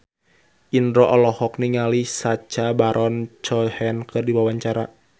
Indro olohok ningali Sacha Baron Cohen keur diwawancara